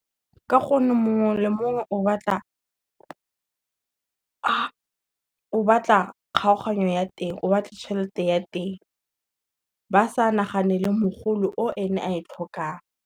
Ka gonne mongwe le mongwe o batla tšhelete ya teng, ba sa naganele mogolo o ene a e tlhokang.